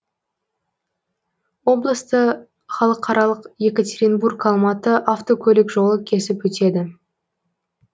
облысты халықаралық екатеринбург алматы автокөлік жолы кесіп өтеді